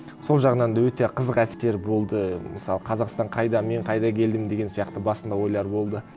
сол жағынан да өте қызық әсер болды мысалы қазақстан қайда мен қайда келдім деген сияқты басында ойлар болды